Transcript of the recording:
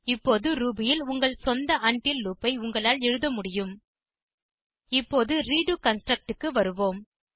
இப்போது ரூபி ல் உங்கள் சொந்த உண்டில் லூப் ஐ உங்களால் எழுத முடியும் இப்போது ரெடோ கன்ஸ்ட்ரக்ட் க்கு வருவோம்